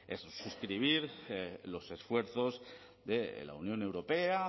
es suscribir los esfuerzos de la unión europea